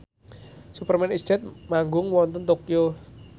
Superman is Dead manggung wonten Tokyo